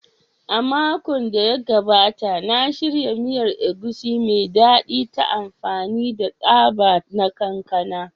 A makon da ya gabata, na shirya miyar Egusi mai daɗi ta amfani da tsaba na kankana